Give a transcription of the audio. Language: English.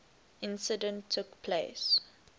incident took place